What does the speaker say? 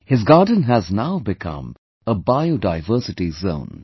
His garden has now become a Biodiversity Zone